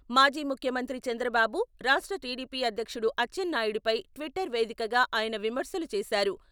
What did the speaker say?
మాజీ ముఖ్యమంత్రి చంద్రబాబు, రాష్ట్ర టీడీపీ అధ్యక్షుడు అచ్చెన్నాయుడిపై ట్విటర్ వేదికగా ఆయన విమర్శలు చేశారు.